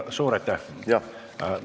Suur aitäh!